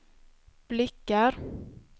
blickar